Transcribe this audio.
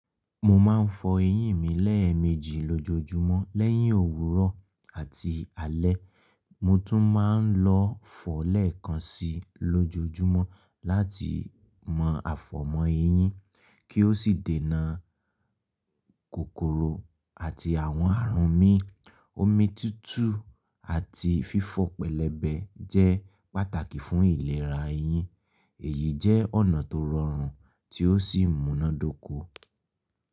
Mo ma ń fọ eyín mi lẹ́ẹ̀mejì lójoojúmọ́ lẹ́yìn òwúrọ̀ àti alẹ́. Mo tún ma ń lọ fọ lẹ́ẹ̀kan síi lójoojúmọ́ láti mọ afọ̀mọ eyín kí ó sì denà kòkòrò àti àwọn àarùn mii. Omi tutù àti fífọ̀ pẹ̀lẹbẹ jẹ́ pàtàkì fún ìlera eyín. Èyí jẹ́ ọ̀nà tó rọrùn tí ó sì muná dóko.